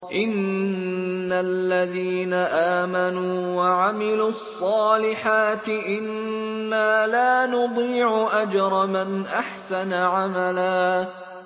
إِنَّ الَّذِينَ آمَنُوا وَعَمِلُوا الصَّالِحَاتِ إِنَّا لَا نُضِيعُ أَجْرَ مَنْ أَحْسَنَ عَمَلًا